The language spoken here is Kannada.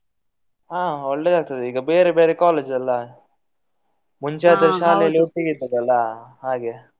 ಹಾ ಒಳ್ಳೆದಾಗ್ತದೆ ಈಗ ಬೇರೆ ಬೇರೆ college ಅಲ್ಲ ಮುಂಚೆ ಆದ್ರೆ ಶಾಲೆ ಅಲ್ಲಿ ಒಟ್ಟಿಗೆ ಇದ್ದದ್ ಅಲ್ಲ ಹಾಗೆ.